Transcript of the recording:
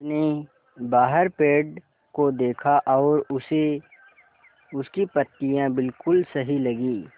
उसने बाहर पेड़ को देखा और उसे उसकी पत्तियाँ बिलकुल सही लगीं